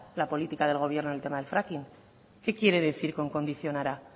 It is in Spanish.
la política del gobierno en el tema del fracking qué quiere decir con condicionará